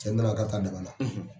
Cɛni na na k'a bɛ taa dama na.